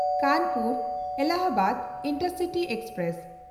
ᱠᱟᱱᱯᱩᱨ-ᱮᱞᱞᱟᱦᱟᱵᱟᱫ intercity express